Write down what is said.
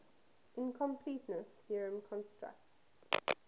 incompleteness theorem constructs